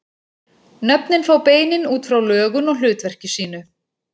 Nöfnin fá beinin út frá lögun og hlutverki sínu.